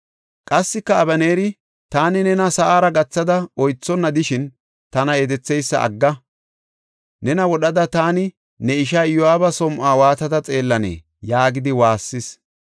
Qassika Abeneeri, “Taani nena sa7ara gathada oythonna de7ishin, tana yedetheysa agga! Nena wodhada taani ne ishaa Iyo7aaba som7uwa waatada xeellanee?” yaagidi waassis.